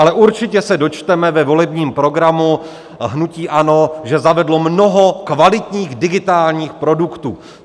Ale určitě se dočteme ve volebním programu hnutí ANO, že zavedlo mnoho kvalitních digitálních produktů.